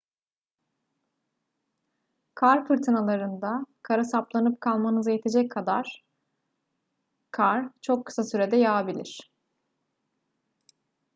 kar fırtınalarında kara saplanıp kalmanıza yetecek kadar kar çok kısa sürede yağabilir